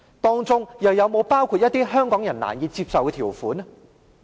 當中又會否包括一些香港人難以接受的條款？